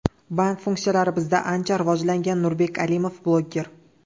Bank funksiyalari bizda ancha rivojlangan”, – Nurbek Alimov, bloger.